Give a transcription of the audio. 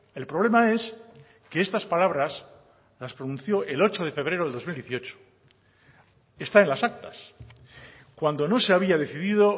el problema es que estas palabras las pronunció el ocho de febrero de dos mil dieciocho está en las actas cuando no se había decidido